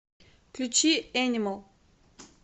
включи энимал